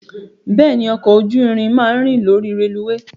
Bẹ́ẹ̀ni, ọkọ̀ ojú irin máa ń rìn lórí rélùweè.